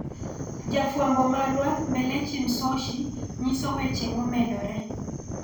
Jafwambo marwa Mbelechi Msoshi nyiso weche momedore